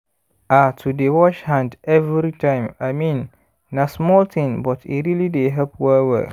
ah to dey wash hand every time i mean na small thing but e really dey help well well